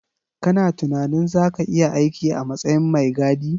Kana tunanin zaka iya aiki a matsayin mai gadi